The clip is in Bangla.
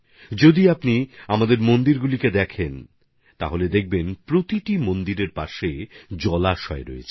যদি আপনারা আমাদের মন্দিরগুলো দেখেন তাহলে দেখতে পাবেন যে প্রতিটি মন্দিরের পাশে পুকুর আছে